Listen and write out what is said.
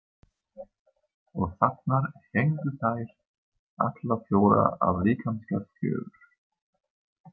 Og þarna héngu þær, allar fjórar af líkamsgerð fjögur.